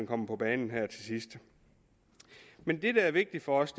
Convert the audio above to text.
kommer på banen her til sidst men det der er vigtigt for os